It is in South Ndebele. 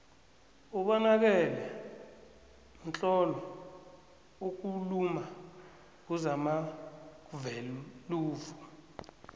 ubonakele mtlolo okuuluma nguzamagveluvo